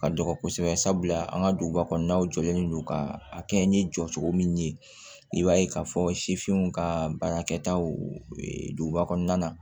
Ka dɔgɔ kosɛbɛ sabula an ka duguba kɔnɔnaw jɔlen do ka a kɛ n ye jɔ cogo min i b'a ye k'a fɔ sifinw ka baarakɛtaw duguba kɔnɔna na